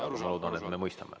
Ma loodan, et me mõistame.